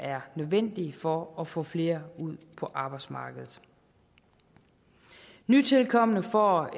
er nødvendige for at få flere ud på arbejdsmarkedet nytilkomne får